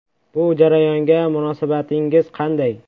Bu jarayonga munosabatingiz qanday?